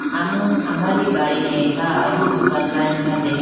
amanu amari gadi khege kha ahi dukan line kha deha.